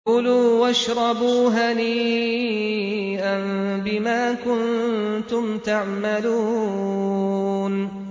كُلُوا وَاشْرَبُوا هَنِيئًا بِمَا كُنتُمْ تَعْمَلُونَ